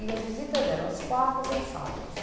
E as visitas eram às quartas e aos sábados.